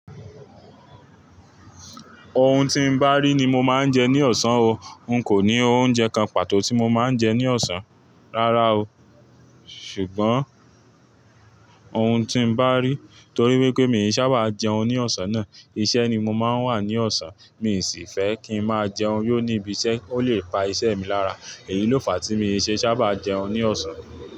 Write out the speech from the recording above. Ohun tí n bá rí ni mo máa ń jẹ ní ọ̀sán o. N kò ní oúnjẹ kan pàtó tí mo máa ń jẹ ní ọ̀sán, rárá o. Ṣùgbọ́n ohun tí n bá rí. Torí wípé mi ì sá bá jẹun ní ọ̀sán náà, iṣẹ́ ni mo máa ń wà ní ọ̀sán. Mi ì sì fẹ́ kí n máa jẹun yó níbi iṣẹ́, ó lè pa iṣẹ́ mi lára. Èyí ló fàá tí mi ì ṣe sá bá jẹun ní ọ̀sán.